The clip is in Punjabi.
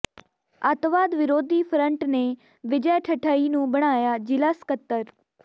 ਅੱਤਵਾਦ ਵਿਰੋਧੀ ਫਰੰਟ ਨੇ ਵਿਜੈ ਠਠਈ ਨੂੰ ਬਣਾਇਆ ਜ਼ਿਲ੍ਹਾ ਸਕੱਤਰ